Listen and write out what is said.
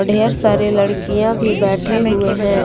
ढेर सारी लड़कियां भी बैठे हुए हैं।